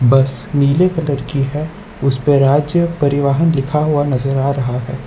बस नीले कलर की है उसपे राज्य परिवहन लिखा हुआ नजर आ रहा है।